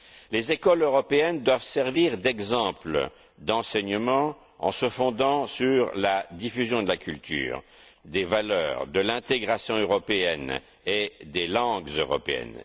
Les écoles européennes doivent servir d'exemple d'enseignement en se fondant sur la diffusion de la culture, des valeurs, de l'intégration européenne et des langues européennes.